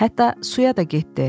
Hətta suya da getdi.